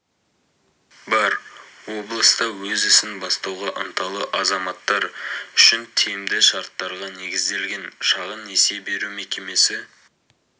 бар облыста өз ісін бастауға ынталы азаматтар үшін тиімді шарттарға негізделген шағын несие беру мекемесі